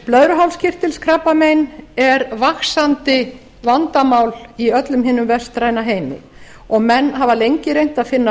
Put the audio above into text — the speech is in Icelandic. blöðruhálskirtilskrabbamein er vaxandi vandamál í öllum hinum vestræna heimi og menn hafa lengi reynt að finna